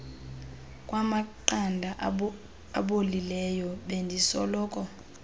kwamaqanda abolileyo bendisoloko